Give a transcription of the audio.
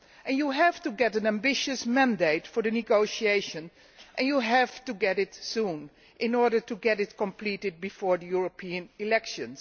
You have to get an ambitious mandate for the negotiation and you have to get it soon, in order to get it completed before the European elections.